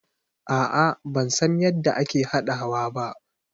No i dont know how to prepare it.